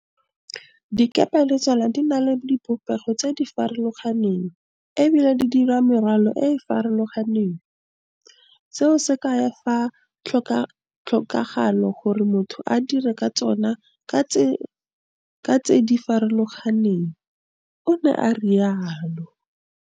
Dikepe le tsona di na le dibopego tse di farolo ganeng e bile dirwala merwalo e e farologaneng, seo se kaya fa go tlhokagala gore motho a dire ka tsona ka ditsela tse di farologaneng, o ne a rialo